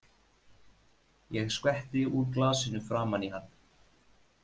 Ég skvetti úr glasinu framan í hann.